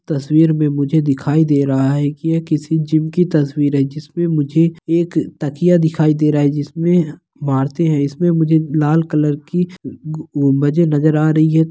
तस्वीर में मुझे दिखाई दे रहा है की यह किसी जीम की तस्वीर है जिसमे मुझे एक तकिया दिखाई दे रहा है जिसमे मारते है इसमें मुझे लाल कलर की उ गू बजे नज़र आ रही है।